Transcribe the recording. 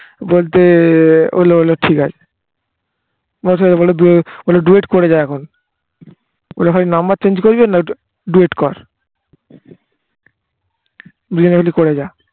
বলতে ঠিক আছে বলে duet করে যা এখন বলে ভাই number change করবি আর না ওইটা duet কর দুজনে মিলে করে যা